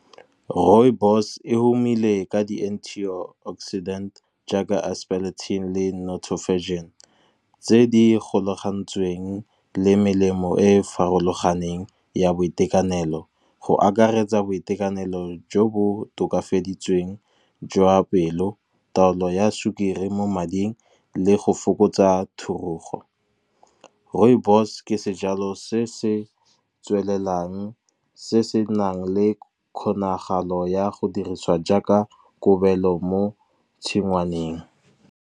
Rooibos e tumile ka di-anti oxidant jaaka aspalathin le nothofagin tse di golagantsweng le melemo e e farologaneng ya boitekanelo. Go akaretsa boitekanelo jo bo tokafaditsweng jwa pelo taolo ya sukiri mo mading le go fokotsa thurugo. Rooibos ke sejalo se se tswelelang se se nang le kgonagalo ya go dirisiwa jaaka kobelo mo tshingwaneng.